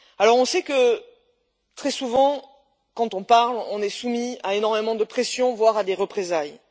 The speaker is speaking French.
On sait que, très souvent, quand on parle, on est soumis à énormément de pression, voire à des représailles.